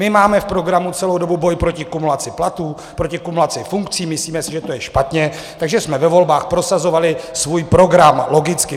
My máme v programu celou dobu boj proti kumulaci platů, proti kumulaci funkcí, myslíme si, že to je špatně, takže jsme ve volbách prosazovali svůj program - logicky.